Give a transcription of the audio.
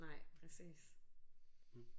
Nej præcis